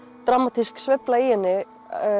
dramatísk sveifla í henni